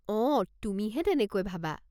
অঁ, তুমিহে তেনেকৈ ভাবা!